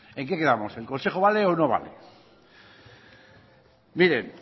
en qué quedamos el consejo vale o no vale miren